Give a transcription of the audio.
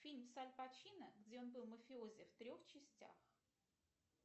фильм с аль пачино где он был мафиози в трех частях